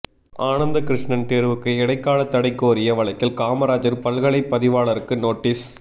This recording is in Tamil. ஆனந்தகிருஷ்ணன் தேர்வுக்கு இடைக்கால தடை கோரிய வழக்கில் காமராஜர் பல்கலை பதிவாளருக்கு நோட்டீஸ்